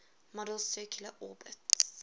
model's circular orbits